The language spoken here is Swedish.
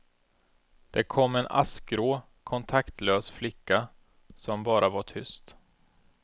Det kom en askgrå, kontaktlös flicka som bara var tyst.